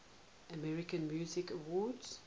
american music awards